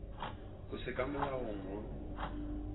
go se ka molaong go